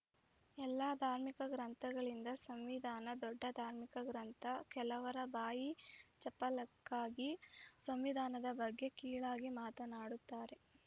ಎಲ್ಲ ಧಾರ್ಮಿಕ ಗ್ರಂಥಗಳಿಂದ ಸಂವಿಧಾನ ದೊಡ್ಡ ಧಾರ್ಮಿಕ ಗ್ರಂಥ ಕೆಲವರ ಬಾಯಿ ಚಪಲಕ್ಕಾಗಿ ಸಂವಿಧಾನದ ಬಗ್ಗೆ ಕೀಳಾಗಿ ಮಾತನಾಡುತ್ತಾರೆ